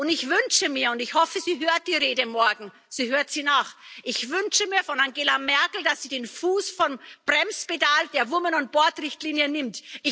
Ich wünsche mir und ich hoffe, sie hört die Rede morgen, sie hört sie nach ich wünsche mir von Angela Merkel, dass sie den Fuß vom Bremspedal der Women on boards Richtlinie nimmt.